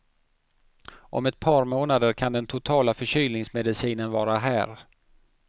Om ett par månader kan den totala förkylningsmedicinen vara här.